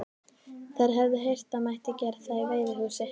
Þær höfðu heyrt það mætti gera það í veiðihúsi.